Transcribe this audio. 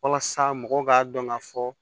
Walasa mɔgɔw k'a dɔn ka fɔ